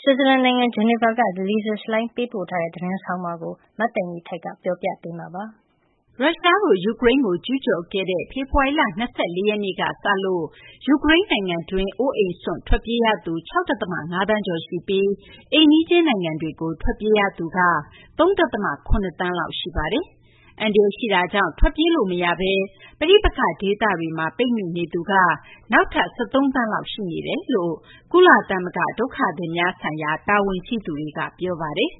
ဆွစ်ဇာလန်နိုင်ငံ ဂျီနီဗာကနေ Lisa Schlein ပေးပို့တဲ့ သတင်းဆောင်းပါးကို မသိင်္ဂီထိုက် ပြောပြပေးပါမယ်။ ရုရှားတို့ ယူကရိန်းကို ကျူးကျော်ခဲ့တဲ့ ဖေဖော်ဝါရီလ ၂၄ ရက်နေ့ကစလို့ ယူကရိန်းနိုင်ငံတွင်းမှာပဲ အိုးအိမ်စွန့်ခွာ ထွက်ပြေးရသူ ၆ ဒသမ ၅ သန်းကျော်ရှိပြီး အိမ်နီးချင်းနိုင်ငံတွေကို ထွက်ပြေးရသူက ၃ ဒသမ ၇ သန်းလောက် ရှိပါတယ်။ အန္တရာယ်ရှိတာကြောင့် ထွက်ပြေးလို့မရဘဲ ပဋိပက္ခဒေသတွေမှာ ပိတ်မိနေသူက နောက်ထပ် ၁၃ သန်းလောက် ရှိနေကြောင်း ကုလသမဂ္ဂ ဒုက္ခသည်များဆိုင်ရာ တာဝန်ရှိသူတွေက ပြောပါတယ်။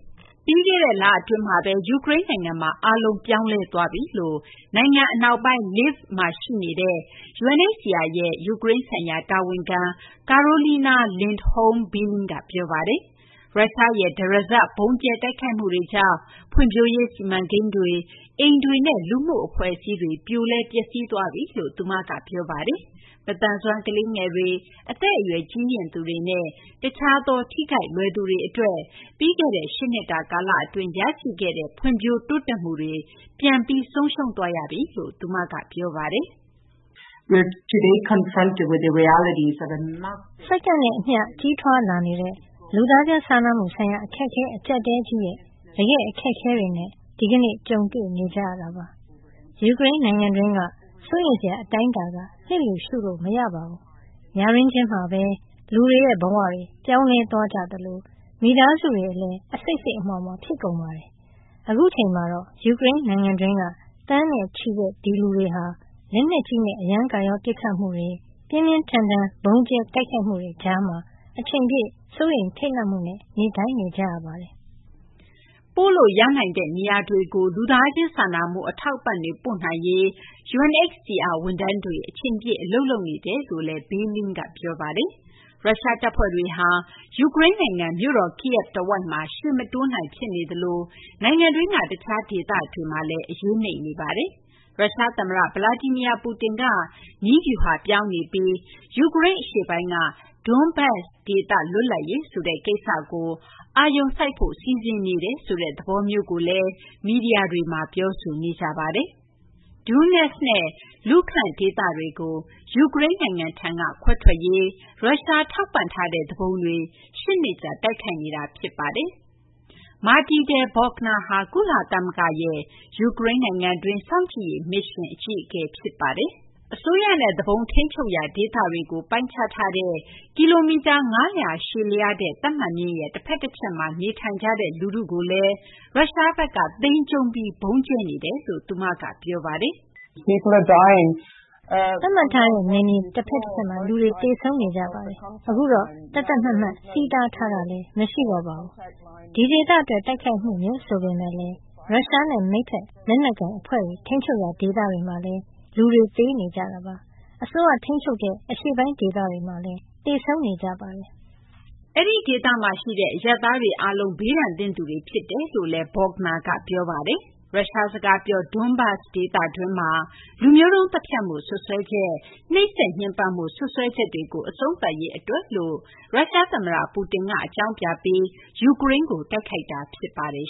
ပြီးခဲ့တဲ့လအတွင်းမှာပဲ ယူကရိန်းနိုင်ငံမှာ အားလုံး ပြောင်းလဲသွားပြီလို့ နိုင်ငံအနောက်ပိုင်း Lviv မှာ ရှိနေတဲ့ UNHCR ရဲ့ ယူကရိန်းဆိုင်ရာ တာဝန်ခံ Karolina Lindholm Billing က ပြောပါတယ်။ ရုရှားရဲ့ တရစပ် ဗုံးကြဲတိုက်ခိုက်မှုတွေကြောင့် ဖွံ့ဖြိုးရေးစီမံကိန်းတွေ၊ အိမ်တွေနဲ့ လူမှုအဖွဲ့အစည်းတွေ ပြိုလဲ ပျက်စီးသွားပြီလို့ သူမက ပြောပါတယ်။ မသန်စွမ်း ကလေးငယ်တွေ၊ အသက်အရွယ် ကြီးရင့်သူတွေနဲ့ တခြားသော ထိခိုက်လွယ်သူတွေအတွက် ပြီးခဲ့တဲ့ ၈ နှစ်တာ ကာလအတွင်း ရရှိခဲ့တဲ့ ဖွံ့ဖြိုးတိုးတက်မှုတွေ ပြန်ပြီး ဆုံးရှုံးသွားရပြီလို့လည်း သူမက ပြောပါတယ်။ “စက္ကန့်နဲ့အမျှ ကြီးထွားလာနေတဲ့ လူသားချင်းစာနာမှုဆိုင်ရာ အခက်အခဲ အကျပ်အတည်းကြီးရဲ့ တကယ့် အခက်အခဲတွေနဲ့ ဒီကနေ့ ကြုံတွေ့နေရတာပါ။ ယူကရိန်းနိုင်ငံတွင်းက စိုးရိမ်စရာ အတိုင်းအတာက လျစ်လျူရှုလို့ မရပါဘူး။ ညတွင်းချင်းမှာပဲ လူတွေရဲ့ဘဝတွေ ပြောင်းလဲသွားကြသလို မိသားစုတွေလည်း အစိတ်စိတ်အမြွှာမြွှာ ဖြစ်ကုန်ပါတယ်။ အခုအချိန်မှာတော့ ယူကရိန်းနိုင်ငံတွင်းက သန်းနဲ့ချီတဲ့ ဒီလူတွေဟာ လက်နက်ကြီးနဲ့ အရမ်းကာရော ပစ်ခတ်မှုတွေ၊ ပြင်းပြင်းထန်ထန် ဗုံးကြဲတိုက်ခိုက်မှုတွေကြားမှာ အချိန်ပြည့် စိုးရိမ်ထိတ်လန့်မှုနဲ့ နေထိုင်နေကြရပါတယ်။” ပို့လို့ရနိုင်တဲ့ နေရာတွေကို လူသားချင်းစာနာမှု အထောက်အပံ့တွေ ပို့နိုင်ရေး UNHCR ဝန်ထမ်းတွေ အချိန်ပြည့် အလုပ်လုပ်နေကြောင်းလည်း Billing က ပြောပါတယ်။ ရုရှားတပ်ဖွဲ့တွေဟာ ယူကရိန်းနိုင်ငံ မြို့တော် Kyiv တဝိုက်မှာ ရှေ့မတိုးနိုင် ဖြစ်နေသလို နိုင်ငံတွင်းက တခြားဒေသတွေမှာလည်း အရေးနိမ့်နေပါတယ်။ ရုရှားသမ္မတ Vladimir Putin က နည်းဗျူဟာပြောင်းနေပြီး ယူကရိန်းအရှေ့ပိုင်းက Donbas ဒေသ လွတ်လပ်ရေးဆိုတဲ့ ကိစ္စကို အာရုံစိုက်ဖို့ စီစဉ်နေတယ်ဆိုတဲ့ သဘောမျိုးကိုလည်း မီဒီယာတွေမှာ ပြောဆိုနေကြပါတယ်။ Donetsk နဲ့ Luhansk ဒေသကို ယူကရိန်းထံက ခွဲထွက်ရေးအတွက် ရုရှား ထောက်ပံ့ထားတဲ့ သူပုန်တွေ ၈ နှစ်ကြာ တိုက်ခိုက်နေတာ ဖြစ်ပါတယ်။ Matilda Bogner ဟာ ယူကရိန်းနိုင်ငံတွင်း ကုလသမဂ္ဂ စောင့်ကြည့်ရေးမစ်ရှင်ရဲ့ အကြီးအကဲ ဖြစ်ပါတယ်။ အစိုးရနဲ့ သူပုန် ထိန်းချုပ်ရာ ဒေသတွေကို ပိုင်းခြားထားတဲ့ ကီလိုမီတာ ၅၀၀ ရှည်လျားတဲ့ သတ်မှတ်မျဉ်းရဲ့ တဖက်တချက်မှာ နေထိုင်ကြတဲ့ လူထုကိုလည်း ရုရှားဘက်က မခွဲခြားဘဲ ဗုံးကြဲနေတယ်လို့ သူမက ပြောပါတယ်။ “အရင်က သတ်မှတ်မျဉ်းရဲ့ နှစ်ဖက်စလုံးကလူတွေ သေဆုံးနေကြပါတယ်။ အခုတော့ သတ်သတ်မှတ်မှတ် ထိန်းချုပ်မျဉ်းလည်း မရှိတော့ပါဘူး။ ဒီဒေသအတွက် တိုက်ခိုက်မှုမျိုး ဆိုပေမယ့်လည်း ရုရှားနဲ့ မိတ်ဘက် လက်နက်ကိုင်အဖွဲ့တွေ ထိန်းချုပ်ရာ ဒေသတွေမှာလည်း လူတွေ သေနေကြပါတယ်။ အစိုးရထိန်းချုပ်တဲ့ အရှေ့ပိုင်း ဒေသတွေမှာလည်း သေဆုံးနေကြပါတယ်။” အဲဒီဒေသမှာရှိတဲ့ အရပ်သားတွေအားလုံး ဘေးဒဏ်သင့်သူတွေ ဖြစ်တယ်လို့လည်း Bogner က ပြောပါတယ်။ ရုရှားစကားပြော Donbas ဒေသတွင်းမှာ လူမျိုးတုံး သတ်ဖြတ်မှု စွပ်စွဲချက်၊ နှိပ်စက်ညှဉ်းပန်းမှု စွပ်စွဲချက်တွေကို အဆုံးသတ်ရေး အတွက်လို့ ရုရှားသမ္မတ Putin က အကြောင်းပြပြီး ယူကရိန်းကို တိုက်ခိုက်တာ ဖြစ်ပါတယ်